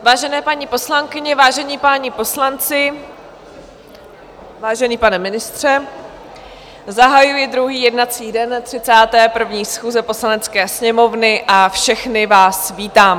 Vážené paní poslankyně, vážení páni poslanci, vážený pane ministře, zahajuji druhý jednací den 31. schůze Poslanecké sněmovny a všechny vás vítám.